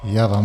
Toť vše.